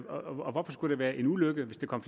og hvorfor skulle det være en ulykke hvis der kom